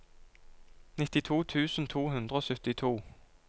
nittito tusen to hundre og syttito